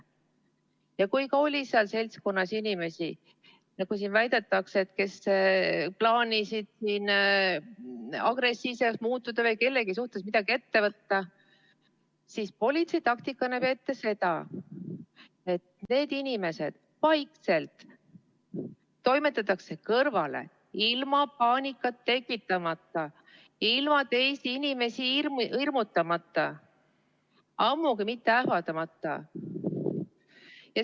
Ja kui seal seltskonnas oli inimesi, nagu siin väidetakse, kes plaanisid agressiivseks muutuda või kellegi suhtes midagi ette võtta, siis politsei taktika näeb ette seda, et need inimesed vaikselt toimetatakse kõrvale, ilma paanikat tekitamata, ilma teisi inimesi hirmutamata, ammugi mitte ähvardamata.